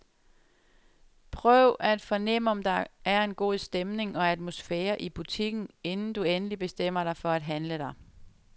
Prøv at fornem om der er en god stemning og atmosfære i butikken, inden du endeligt bestemmer dig for at handle der.